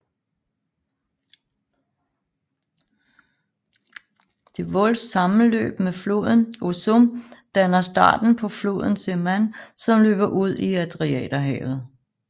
Devolls sammenløb med floden Osum danner starten på floden Seman som løber ud i Adriaterhavet